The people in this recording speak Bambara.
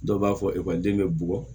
Dɔw b'a fɔ ekɔliden bɛ bugɔ